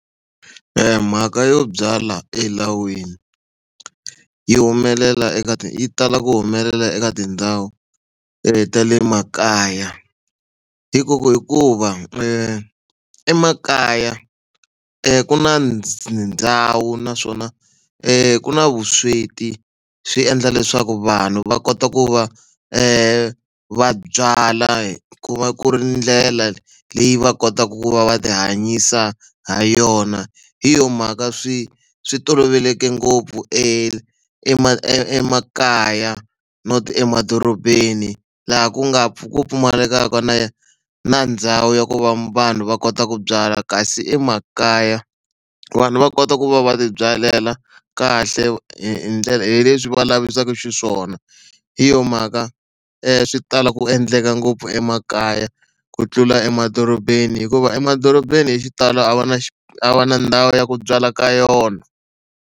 E mhaka yo byala elawini yi humelela eka yi tala ku humelela eka tindhawu ta le makaya hi ku ku hikuva emakaya ku na ndhawu naswona ku na vusweti swi endla leswaku vanhu va kota ku va va byala ku va ku ri ndlela leyi va kotaka ku va va tihanyisa ha yona hi yona mhaka swi swi toloveleke ngopfu e emakaya not emadorobeni laha ku nga ku pfumalekaka na na ndhawu ya ku va vanhu va kota ku byala kasi emakaya vanhu va kota ku va va tibyalela kahle hi hi ndlela hi leswi va lavisaka xiswona hi yona mhaka swi tala ku endleka ngopfu emakaya ku tlula emadorobeni hikuva emadorobeni hi xitalo a va na a va na ndhawu ya ku byala ka yona.